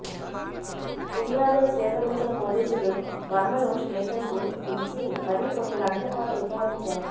ఫిర్యాదును స్వీకరించిన పోలీసులు వర్మను స్టేషన్ కు పిలిచి మరీ కొన్ని గంటలపాటు విచారించారు